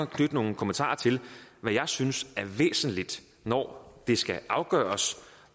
knytte nogle kommentarer til hvad jeg synes er væsentligt når det skal afgøres